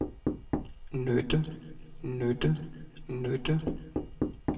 nytte nytte nytte